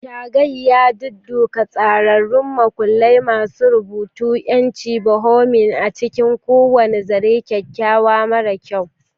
Shaggy yadudduka tsararrun makullai masu rubutu, 'yancin bohemian a cikin kowane zaren, kyakkyawa mara kyau.